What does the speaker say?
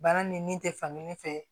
Baara ni min tɛ fankelen fɛ